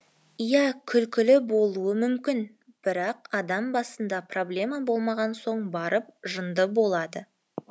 иә күлкілі болуы мүмкін бірақ адам басында проблема болмаған соң барып жынды болады